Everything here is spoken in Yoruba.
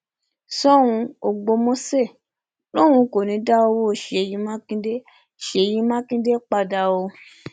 ṣòun ọgbọmọṣẹ lòun kò ní í dá owó ṣèyí mákindè ṣèyí mákindè padà o